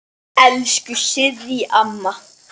Elsku Sirrý amma.